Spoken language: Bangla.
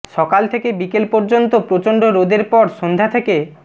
সকাল থেকে বিকেল পর্যন্ত প্রচণ্ড রোদের পর সন্ধ্যা থেকে